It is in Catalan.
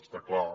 està clar